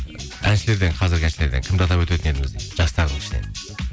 әншілерден қазіргі әншілерден кімді атап өтетін едіңіз дейді жастардың ішінен